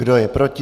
Kdo je proti?